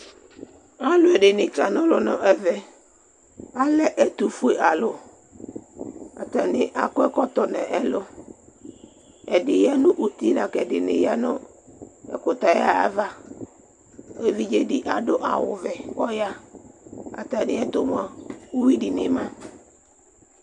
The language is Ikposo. Alʋɛdìní kana ɔlu nʋ ɛvɛ Atani alɛ ɛtʋfʋe alu Atani akɔ ɛkɔtɔ nʋ ɛlu Ɛdí ya nʋ ʋti lakʋ ɛdiní ya nʋ ɛkʋtɛ ayʋ ava Evidze di adu awu vɛ kʋ ayaha Atami ɛtu mʋa, ʋwui dìní ma